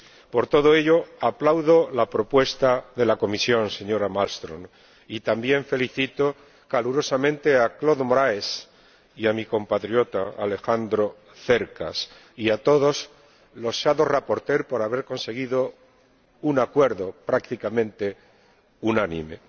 Por todo ello, aplaudo la propuesta de la Comisión, señora Malmström, y también felicito calurosamente a Claude Moraes y a mi compatriota Alejandro Cercas y a todos los ponentes alternativos por haber conseguido un acuerdo prácticamente unánime.